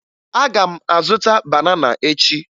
Aga m azụta banana echi